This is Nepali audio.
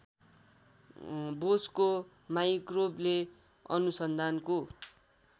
बोसको माइक्रोवेभ अनुसन्धानको